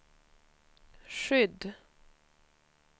skydd